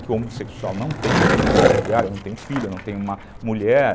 que o homossexual não tem uma estrutura familiar, não tem um filho, não tem uma mulher.